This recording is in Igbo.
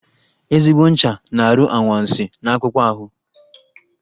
Ezigbo ncha na-arụ anwansị n'akpụkpọ ahụ